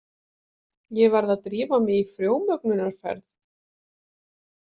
Ég verð að drífa mig í frjómögnunarferð.